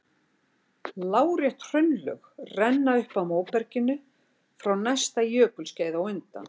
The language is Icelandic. Lárétt hraunlög renna upp að móberginu frá næsta jökulskeiði á undan.